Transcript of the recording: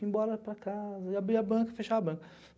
Ia embora para casa, ia abrir a banca, fechava a banca.